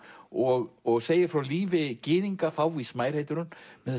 og og segir frá lífi gyðinga fávís mær heitir hún